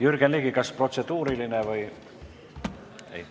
Jürgen Ligi, kas protseduuriline küsimus?